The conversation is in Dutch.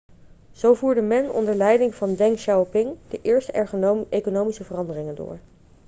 zo voerde men onder leiding van deng xiaoping de eerste economische veranderingen door